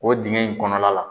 O dingɛ in kɔnɔna la.